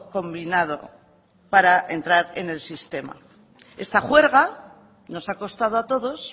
combinado para entrar en el sistema esta juerga nos ha costado a todos